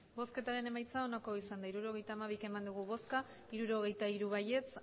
emandako botoak hirurogeita hamabi bai hirurogeita hiru ez